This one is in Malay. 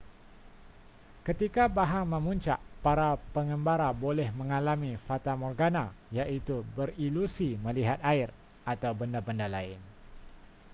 ketika bahang memuncak para pengembara boleh mengalami fatamorgana iaitu berilusi melihat air atau benda-benda lain